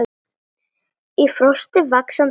Í frosti, vaxandi vindi.